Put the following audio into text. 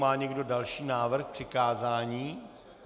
Má někdo další návrh k přikázání?